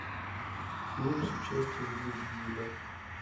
фильм с участием вин дизеля